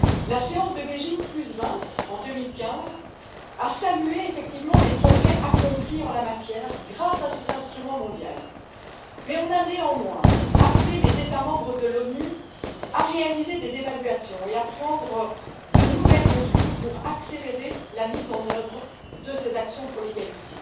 La session de Beijing 20, en 2015, a salué les progrès accomplis en la matière grâce à cet instrument mondial, mais on a néanmoins appelé les États membres de l'ONU à réaliser des évaluations et à prendre de nouvelles mesures pour accélérer la mise en œuvre de ces actions pour l'égalité.